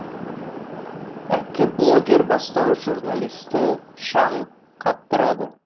әккі блогер бастауыш журналистті шаң қаптырады